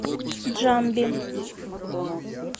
джамби